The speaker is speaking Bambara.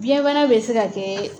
Biyɛn bana bɛ se ka kɛɛ